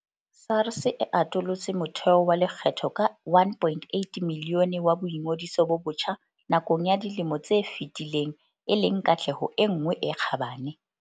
SARS e atolotse motheo wa lekgetho ka 1.8 milione wa boingodiso bo botjha nakong ya dilemo tse fetileng e leng katleho e nngwe e kgabane.